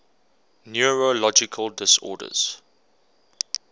neurological disorders